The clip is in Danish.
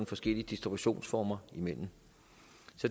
forskellige distributionsformer